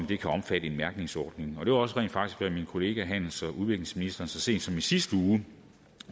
det kan omfatte en mærkningsordning det var rent faktisk også hvad min kollega handels og udviklingsministeren så sent som i sidste uge